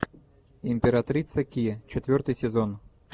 императрица ки четвертый сезон